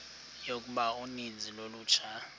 yokuba uninzi lolutsha